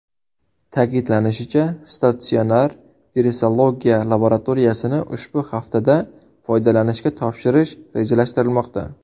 Ta’kidlanishicha, statsionar virusologiya laboratoriyasini ushbu haftada foydalanishga topshirish rejalashtirilmoqda.